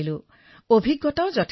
আৰু মই বহু সুযোগো লাভ কৰিছো